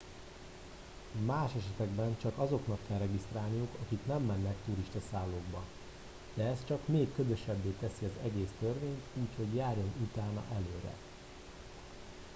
más esetekben csak azoknak kell regisztrálniuk akik nem mennek turistaszállókba de ez csak még ködösebbé teszi az egész törvényt úgyhogy járjon utána előre